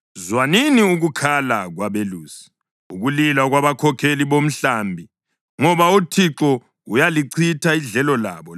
Zwanini ukukhala kwabelusi, ukulila kwabakhokheli bomhlambi, ngoba uThixo uyalichitha idlelo labo.